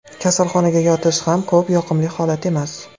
Kasalxonaga yotish ko‘p ham yoqimli holat emas.